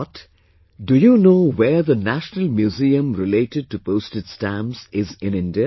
But, do you know where the National Museum related to postage stamps is in India